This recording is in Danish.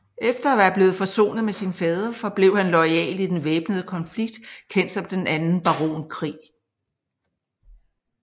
Efter at være blevet forsonet med sin fader forblev han loyal i den væbnede konflikt kendt som Den anden baronkrig